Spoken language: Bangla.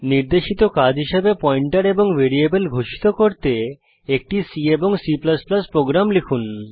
নির্দেশিত কাজ হিসাবে পয়েন্টার এবং ভ্যারিয়েবল ঘোষিত করতে একটি C এবং C প্রোগ্রাম লিখুন